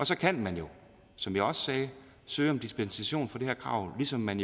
så kan man jo som jeg også sagde søge om dispensation fra det her krav ligesom man